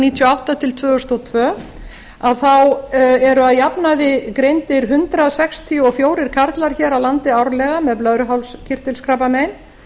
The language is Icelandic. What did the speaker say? níutíu og átta til tvö þúsund og tvö eru að jafnaði greindir hundrað sextíu og fjórir karlar hér á landi árlega með blöðruhálskirtilskrabbamein